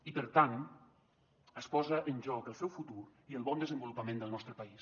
i per tant es posa en joc el seu futur i el bon desenvolupament del nostre país